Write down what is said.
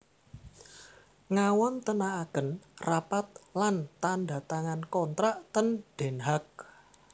Ngawontenaken rapat lan tanda tangan kontrak ten Den Haag